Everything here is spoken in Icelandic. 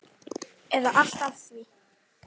eða allt að því.